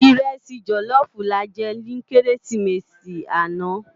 Irèsi jòlòfú làjè ni Kérésimési ànâ